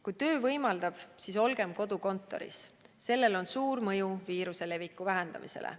Kui töö võimaldab, siis olgem kodukontoris – sellel on suur mõju viiruse leviku vähendamisele.